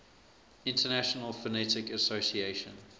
international phonetic association